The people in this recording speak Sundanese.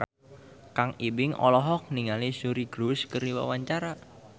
Kang Ibing olohok ningali Suri Cruise keur diwawancara